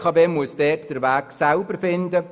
Das heisst, die BKW muss den Weg selber finden.